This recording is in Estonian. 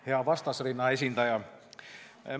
Hea vastasrinna esindaja!